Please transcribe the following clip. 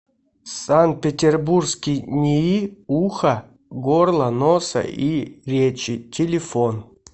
санкт петербургский нии уха горла носа и речи телефон